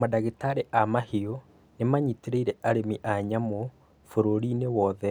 Madagĩtarĩ a mahiũ nĩmanyitĩrĩire arĩmi a nyamũ bũrũri-inĩ wothe